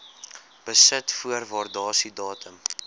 besit voor waardasiedatum